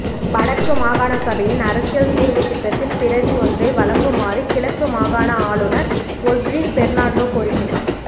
வடக்கு மாகாண சபையின் அரசியல் தீர்வுத்திட்டத்தின் பிரதி ஒன்றை வழங்குமாறுகிழக்கு மாகாண ஆளுனர் ஒஸ்ரின் பெர்னாண்டோ கோரிக்கை